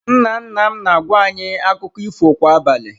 Nna nna m na-agwa anyị akụkọ ifo kwa abalị.